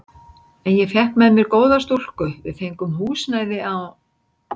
En ég fékk með mér góða stúlku, við fengum húsnæði á